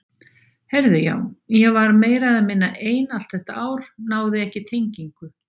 Heyrðu já, ég var meira eða minna ein allt þetta ár, náði ekki tengingu.